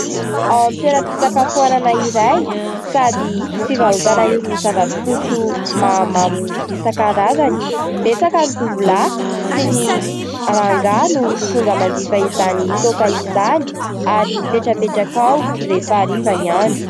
Ao amin'ny toeram-pisakafoanana iray sady fivarotana irony zava-pisotro mahamamo isan-karazany. Betsaka ny tovolahy sy ny rangahy no tonga manjifa izany toaka izany ary mipetrapetraka ao rehefa hariva ny andro.